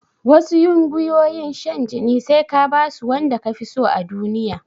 Wasu ƴungiyoyin shan jinin sai ka basu wanda kafiso a duniya